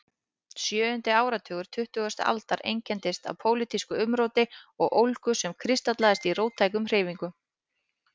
Sjöundi áratugur tuttugustu aldar einkenndist af pólitísku umróti og ólgu sem kristallaðist í róttækum hreyfingum.